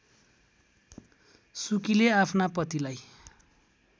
सुकीले आफ्ना पतिलाई